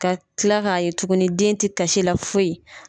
Ka tila k'a ye tuguni den te kasi la foyi